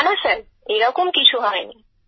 না না স্যার এরকম কিছু হয়নি